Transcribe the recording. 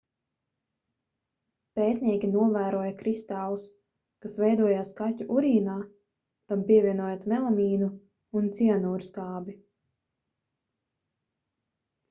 pētnieki novēroja kristālus kas veidojās kaķu urīnā tam pievienojot melamīnu un cianūrskābi